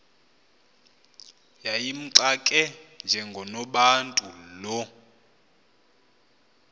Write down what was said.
yayimxake njengonobantu lo